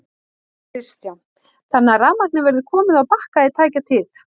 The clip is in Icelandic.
Kristján: Þannig að rafmagnið verður komið á Bakka í tæka tíð?